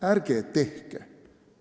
Ärge tehke seda!